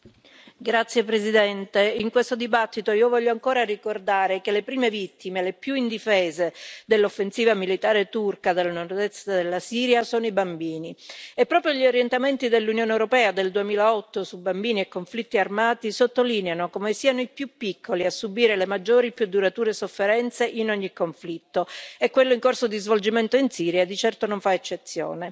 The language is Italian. Signora Presidente, onorevoli colleghi, in questo dibattito io voglio ancora ricordare che le prime vittime, le più indifese dell'offensiva militare turca nel nord est della Siria sono i bambini. E proprio gli orientamenti dell'Unione europea del 2008 su bambini e conflitti armati sottolineano come siano i più piccoli a subire le maggiori e più durature sofferenze in ogni conflitto e quello in corso di svolgimento in Siria di certo non fa eccezione.